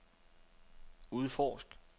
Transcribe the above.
udforsk